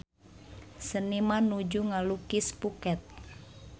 Seniman nuju ngalukis Phuket